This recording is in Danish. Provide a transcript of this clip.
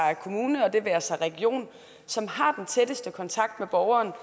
kommune og det være sig region som har den tætteste kontakt med borgeren